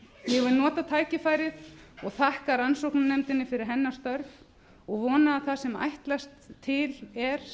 vil nota tækifærið og þakka rannsóknarnefndinni fyrir hennar störf og vona að það sem ætlast er til sem